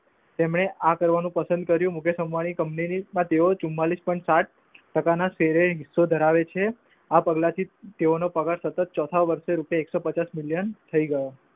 તેમને આ કરવાનું પસંદ કર્યું. મુકેશ અંબાણી કંપની ને તેઓ ચુમાંલીશ point સાત ટાકા ના સેરંગસોં ધરાવે છે આ પગલાં થી તેઓનો સત્તત ચોથા વર્ષે રૂપિયા એક સો પંચાસ મિલયન થઈ ગયો.